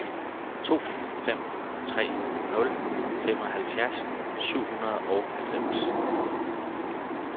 to fem tre nul femoghalvfjerds syv hundrede og halvfems